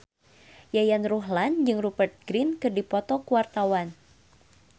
Yayan Ruhlan jeung Rupert Grin keur dipoto ku wartawan